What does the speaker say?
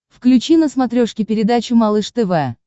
включи на смотрешке передачу малыш тв